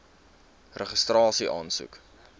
registrasieaansoek